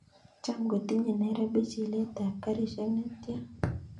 Cham kotinye nairobi chilet ab garishek netian